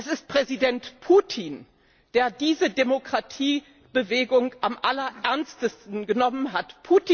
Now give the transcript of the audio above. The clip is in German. Es ist Präsident Putin, der diese Demokratiebewegung am allerernstesten genommen hat.